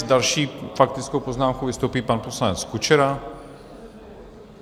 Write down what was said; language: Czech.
S další faktickou poznámkou vystoupí pan poslanec Kučera.